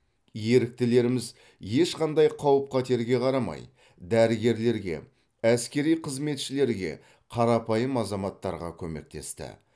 еріктілеріміз ешқандай қауіп қатерге қарамай дәрігерлерге әскери қызметшілерге қарапайым азаматтарға көмектесті